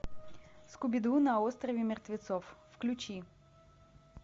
скуби ду на острове мертвецов включи